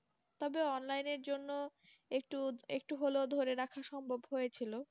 তবে Online এর জন্য একটু একটু হলেও ধরে রাখা সম্ভব হয়েছিল